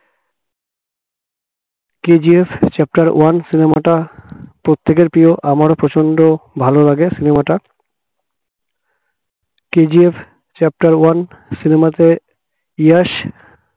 KGF chapter one cinema টা প্রত্যেকের প্রিয় আমারও প্রচন্ড ভালো লাগে cinema টা KGF chapter one cinema তে ইয়াস